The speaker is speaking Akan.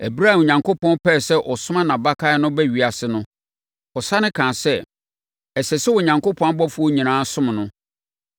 Ɛberɛ a Onyankopɔn pɛɛ sɛ ɔsoma nʼabakan no ba ewiase no, ɔsane kaa sɛ, “Ɛsɛ sɛ Onyankopɔn abɔfoɔ nyinaa som no.”